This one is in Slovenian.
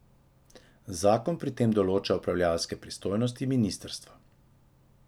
Zakon pri tem določa upravljavske pristojnosti ministrstva.